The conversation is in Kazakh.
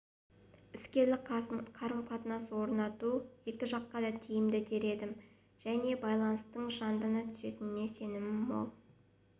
іскерлік қарым-қатынас орнату екі жаққа да тиімді дер едім және байланыстың жандана түсеріне сенім мол